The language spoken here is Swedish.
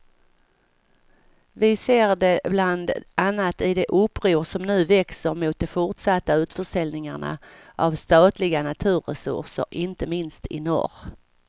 Vi ser det bland annat i de uppror som nu växer mot de fortsatta utförsäljningarna av statliga naturresurser inte minst i norr.